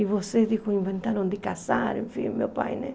E você, disse, inventaram de casar, enfim, o meu pai, né?